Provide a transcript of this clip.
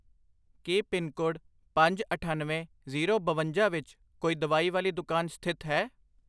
ਕੀ pin code ਪੰਜ, ਅਠੱਨਵੇਂ, zero, ਬਵੰਜਾ ਵਿੱਚ ਕੋਈ ਦਵਾਈ ਵਾਲੀ ਦੁਕਾਨ ਸਥਿਤ ਹੈ?